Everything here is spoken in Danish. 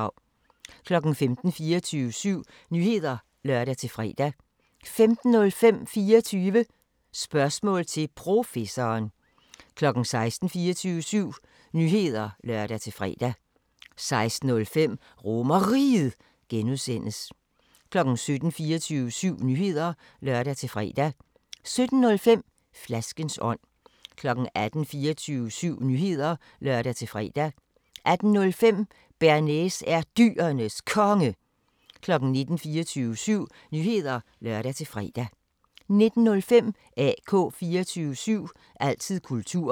15:00: 24syv Nyheder (lør-fre) 15:05: 24 Spørgsmål til Professoren 16:00: 24syv Nyheder (lør-fre) 16:05: RomerRiget (G) 17:00: 24syv Nyheder (lør-fre) 17:05: Flaskens ånd 18:00: 24syv Nyheder (lør-fre) 18:05: Bearnaise er Dyrenes Konge 19:00: 24syv Nyheder (lør-fre) 19:05: AK 24syv – altid kultur